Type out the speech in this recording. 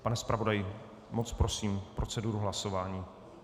Pane zpravodaji, moc prosím, proceduru hlasování.